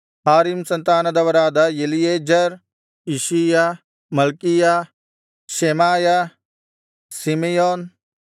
ಹಾರೀಮ್ ಸಂತಾನದವರಾದ Eliezer Ishijah Malchijah Shemaiah Simeon